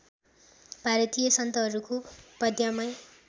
भारतीय सन्तहरूको पद्यमय